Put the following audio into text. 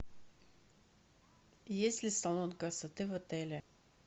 есть ли салон красоты в отеле